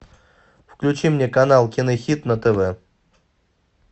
включи мне канал кинохит на тв